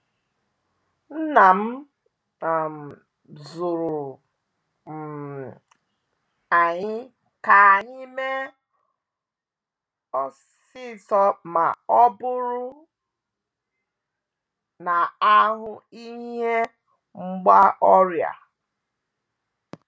Nna m um zụruru um anyị ka anyị mee osisor ma ọ bụrụ na a hụ ihe mgba ọrịa. um